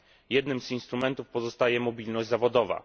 Jednym z instrumentów pozostaje mobilność zawodowa.